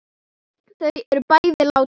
Þau eru bæði látin.